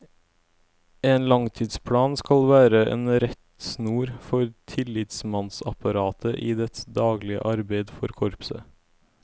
En langtidsplan skal være en rettsnor for tillitsmannsapparatet i dets daglige arbeid for korpset.